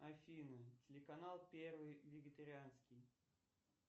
афина телеканал первый вегетарианский